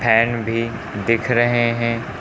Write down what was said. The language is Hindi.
फैन भी दिख रहे हैं।